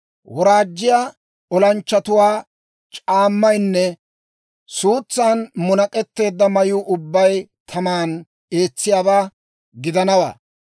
Woraajjiyaa olanchchatuwaa c'aammaynne suutsan munak'etteedda mayuu ubbay taman eetsiyaabaa gidanawaa.